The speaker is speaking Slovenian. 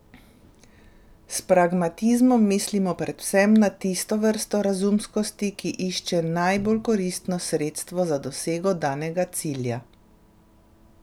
S pragmatizmom mislimo predvsem na tisto vrsto razumskosti, ki išče najbolj koristno sredstvo za dosego danega cilja.